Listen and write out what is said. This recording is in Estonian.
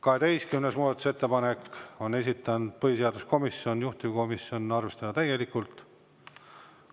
Muudatusettepaneku nr 12 on esitanud põhiseaduskomisjon, juhtivkomisjon: arvestada täielikult.